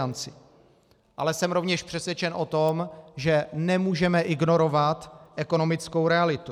Ale jsem rovněž přesvědčen o tom, že nemůžeme ignorovat ekonomickou realitu.